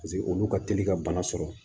Paseke olu ka teli ka bana sɔrɔ